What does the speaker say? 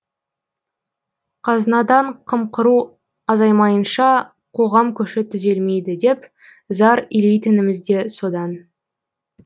қазынадан қымқыру азаймайынша қоғам көші түзелмейді деп зар илейтініміз де содан